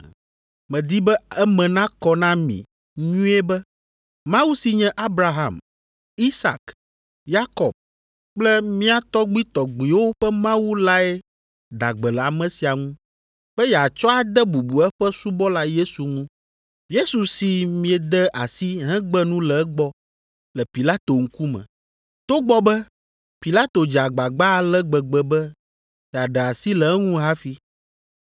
Medi be eme nakɔ na mi nyuie be Mawu si nye Abraham, Isak, Yakob kple mía tɔgbuitɔgbuiwo ƒe Mawu lae da gbe le ame sia ŋu be yeatsɔ ade bubu eƒe subɔla Yesu ŋu. Yesu si miede asi hegbe nu le egbɔ le Pilato ŋkume, togbɔ be Pilato dze agbagba ale gbegbe be yeaɖe asi le eŋu hafi.